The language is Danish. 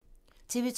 TV 2